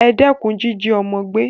E dékun jíjí ọ́mọ́ gbé